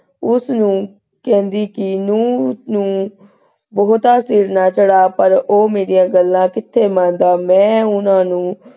ਉਸਨੂੰ ਕਹਿੰਦੀ ਕੀ ਨੂੰਹ ਨੂੰ ਬਹੁਤ ਸਿਰ ਨਾ ਚੜ੍ਹਾ ਪਰ ਉਹ ਮੇਰੀਆਂ ਗੱਲਾਂ ਕਿਥੇ ਮੰਨਦਾ । ਮੈਂ ਉਹਨਾਂ ਨੂੰ,